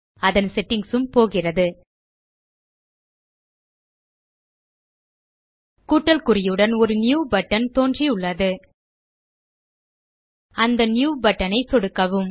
அதன் செட்டிங்ஸ் ம் போகிறது கூட்டல் குறியுடன் ஒரு நியூ பட்டன் தோன்றியுள்ளது அந்த நியூ பட்டன் ஐ சொடுக்கவும்